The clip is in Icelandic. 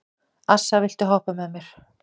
Assa, viltu hoppa með mér?